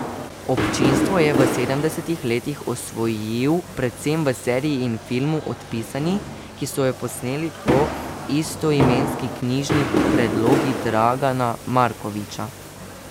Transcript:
Občinstvo je v sedemdesetih letih osvojil predvsem v seriji in filmu Odpisani, ki so jo posneli po istoimenski knjižni predlogi Dragana Markovića.